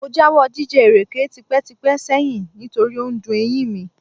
Mo jáwọ́ jíjẹ ìrèké tipẹ́tipẹ́ sẹ́yìn nítorí ó dun eyín mi